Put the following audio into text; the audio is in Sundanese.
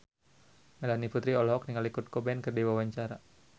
Melanie Putri olohok ningali Kurt Cobain keur diwawancara